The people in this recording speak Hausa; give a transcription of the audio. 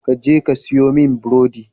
Ka je ka saya mini burodi.